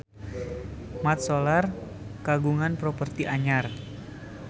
Mat Solar kagungan properti anyar